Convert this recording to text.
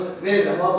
Verirəm.